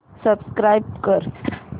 subscribe कर